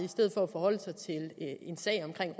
forholde sig til en sag omkring